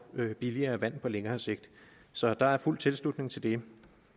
billigere vand på længere sigt så der er fuld tilslutning til det